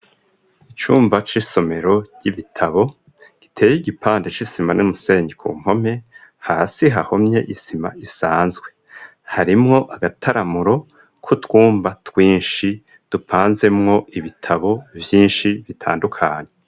Icumba c'isomero, ry'ibitabo, giteye igipande, c'isima n'umusenyi, ku mpome; hasi, hahomye isima, isanzwe; harimwo agataramuro, k'utwumba twinshi, dupanzemwo ibitabo, vyinshi bitandukanye.